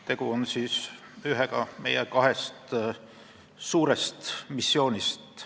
Tegu on ühega meie kahest suurest missioonist.